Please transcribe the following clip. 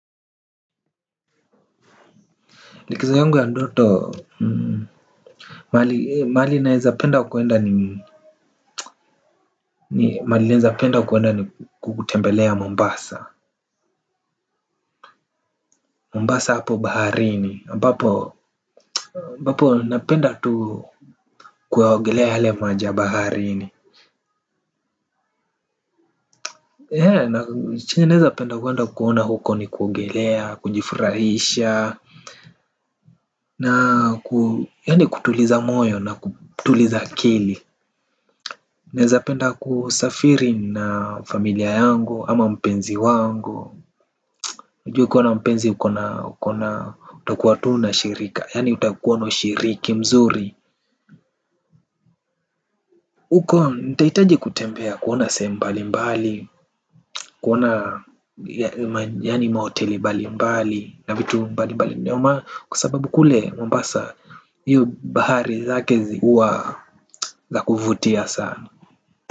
Likizo yangu ya ndoto. Mahali naweza penda kwenda ni mahali naezapenda kuenda ni kutembelea Mombasa Mombasa hapo baharini ambapo napenda tu kuogelea yale maji ya baharini. Chenye naweza penda kwenda kuona huko ni kuogelea, kujfurahisha, na yaan kutuliza moyo nakutuliza akili. Naezapenda kusafiri na familia yangu ama mpenzi wangu, unajua ukiwa na mpenzi uko na utakuwa tu na shirika yaani utakuwa na shiriki mzuri. Uko nitahitaji kutembea kuona sehemu mbali mbali. Kuona yaani mahoteli mbali mbali na vitu mbali mbali. Kwa sababu kule Mombasa hiyo bahari yake huwa a kuvutia sana.